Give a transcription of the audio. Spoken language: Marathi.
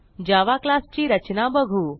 जावा क्लास ची रचना बघू